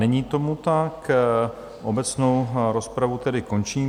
Není tomu tak, obecnou rozpravu tedy končím.